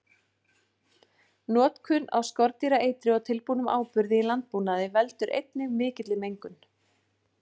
Notkun á skordýraeitri og tilbúnum áburði í landbúnaði veldur einnig mikilli mengun.